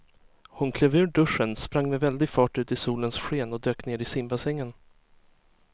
Hon klev ur duschen, sprang med väldig fart ut i solens sken och dök ner i simbassängen.